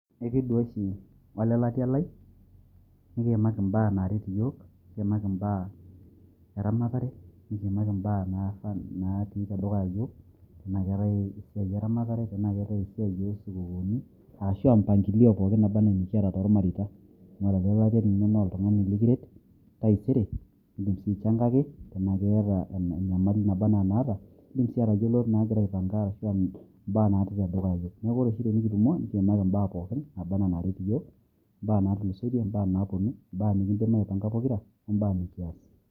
Ikiduaa oshi ole latia lai, nikimaaki mbaa naaret iyiok nikiimaki mbaa eramatare, nikiimaki mbaa(ah) natii te dukyaa iyiook, tenaa keetae esiai eramatare tena keetae esiai oo sukuukuni, arashu mipangilio pooki naaba anaa nikiata nikiata too ilmareita , amu ore ole latia lino na oltugani likiret taaisere dim sii aishangaki tena keeta enyamali naba anaa enaata, nidim sii atayiolo naaigira aipanga arashuu mbaa natii te dukuya iyiok , neeku kore oshi te nikitumo nikiimaki mbaa pooki naaba anaa naret iyiok, mbaa naatulusoitie, mbaa napuonu, mbaa nikiidim aipanga pokira, oo mbaa nkiaas.